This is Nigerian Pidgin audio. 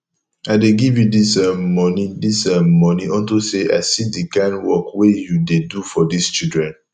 i dey give you dis um money dis um money unto say i see the kin work wey you dey do for dis children